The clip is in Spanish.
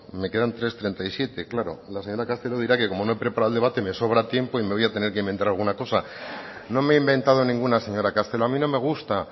me quedan tres coma treinta y siete claro la señora castelo dirá que como no he preparado el debate me sobra tiempo y me voy a tener que inventar alguna cosa no me he inventado ninguna señora castelo a mí no me gusta